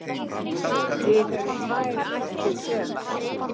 til eru tvær ættir sela